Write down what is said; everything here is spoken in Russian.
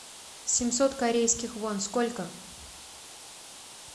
семьсот корейских вон сколько